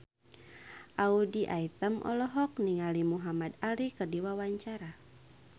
Audy Item olohok ningali Muhamad Ali keur diwawancara